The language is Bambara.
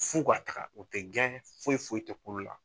F'u ka taga u tɛ gɛn foyi foyi tɛ k'u la.